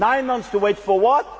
Nine months to wait for what?